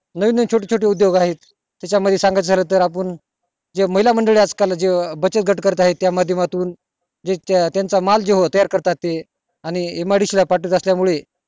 नवीन नवीन छोटे छोटे उदोग आहेत त्याच्या मध्ये सांगायचं झालं तर आपण ज्या महिला आज काल बचत गट करत आहे त्याच्या माध्यमातून जे त्याचा माल जे तयार करतात ते आणि midc ला पाठवत असल्या मुळे